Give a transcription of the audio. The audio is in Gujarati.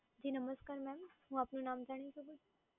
જી નમસ્કાર, હું આપનું નામ જાણી શકું છું?